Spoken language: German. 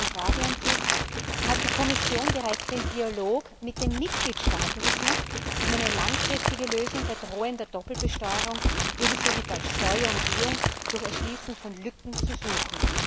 Daher meine Frage an Sie Hat die Kommission bereits den Dialog mit den Mitgliedstaaten gesucht, um eine langfristige Lösung bei drohender Doppelbesteuerung ebenso wie bei Steuerumgehung durch Schließen von Lücken zu suchen?